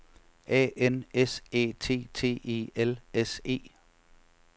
A N S Æ T T E L S E